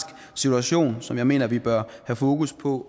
situation som jeg mener vi bør have fokus på